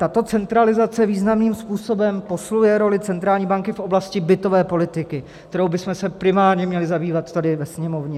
Tato centralizace významným způsobem posiluje roli centrální banky v oblasti bytové politiky, kterou bychom se primárně měli zabývat tady ve Sněmovně.